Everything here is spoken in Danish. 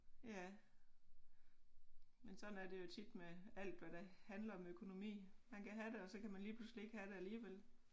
Ja men sådan er det jo tit med alt hvad der handler om økonomi man kan have det og så kan man lige pludselig ikke have det alligevel